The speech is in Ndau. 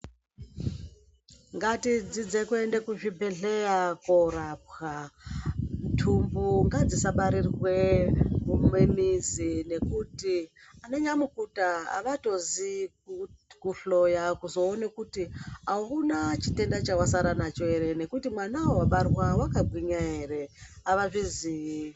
Ngatidzidze kuende kuzvibhedlera korapwa ntumbu ngadzisabarirwe mumizi ngekuti ananyamukuta havatoziye kuhloya kuzowone kuti hauna chitenda chawasara nacho here ngekuti mwana wabarwa akagwinya here havazviziyi.